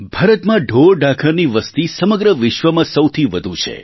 ભારતમાં ઢોરઢાંખરની વસ્તી સમગ્ર વિશ્વમાં સૌથી વધુ છે